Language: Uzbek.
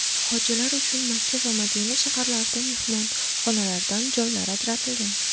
Hojilar uchun Makka va Madina shaharlarida mehmonxonalardan joylar ajratilgan.